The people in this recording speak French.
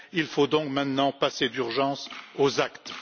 Il faut donc maintenant passer d'urgence aux actes.